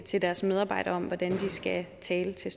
til deres medarbejdere om hvordan de skal tale til